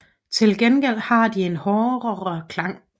Til gengæld har de en hårdere klang